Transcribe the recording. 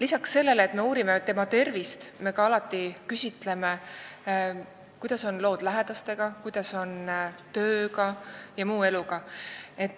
Peale selle, et me uurime inimese tervist, me küsime, kuidas on tema lood lähedastega, tööga ja muu eluga.